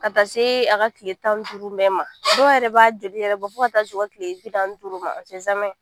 Ka taa se a ka tile tan duuru bɛɛ ma dɔw yɛrɛ b'a jeli yɛrɛ bɔ fo ka taa se u ka tile bi naani ni duuru ma